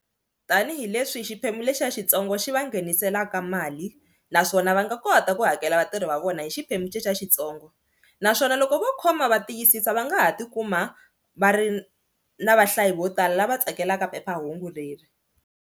Tanihi leswi hi xiphemu lexiya xitsongo xi va ngheniselaka mali naswona va nga kota ku hakela vatirhi va vona hi xiphemu xexiya xintsongo naswona loko vo khoma va tiyisisa va nga ha tikuma va ri na vahlayi vo tala lava tsakelaka phephahungu leri.